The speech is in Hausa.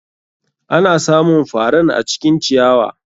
Ana samun faran acikin ciyawa.